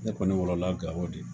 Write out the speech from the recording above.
Ne kɔni wolola Gao de.